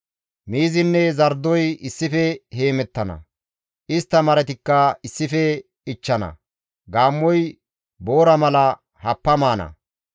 Miizinne zardoy issife heemettana; istta maratikka issife ichchana; gaammoy boora mala happa maana.